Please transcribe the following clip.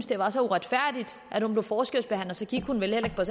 det var så uretfærdigt at hun blev forskelsbehandlet så gik hun vel heller